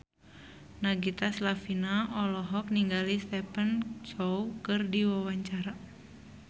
Nagita Slavina olohok ningali Stephen Chow keur diwawancara